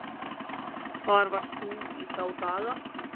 Hvar varst þú í þá daga?